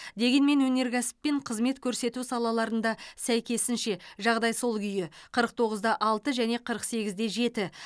дегенмен өнеркәсіп пен қызмет көрсету салаларында сәйкесінше жағдай сол күйі қырық тоғыз да алты және қырық сегіз де жеті